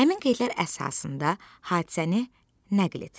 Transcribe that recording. Həmin qeydlər əsasında hadisəni nəql et.